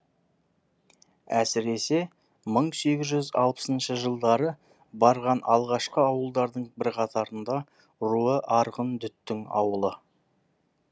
әсіресе мың сегіз жүз алпысыншы жылдары барған алғашқы ауылдардың бірқатарында руы арғын дүттің ауылы